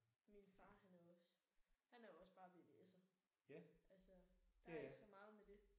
Min far han er også han er også bare VVS'er altså der er ikke så meget med det